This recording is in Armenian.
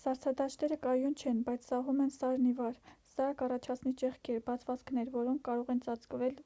սառցադաշտերը կայուն չեն բայց սահում են սարն ի վար սա կառաջացնի ճեղքեր բացվածքներ որոնք կարող են ծածկվել